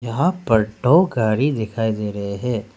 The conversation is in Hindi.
यहां पर टो गाड़ी दिखाई दे रहे है।